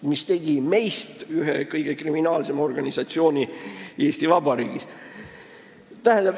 See tegi meist ühe kõige kriminaalsema organisatsiooni Eesti Vabariigis.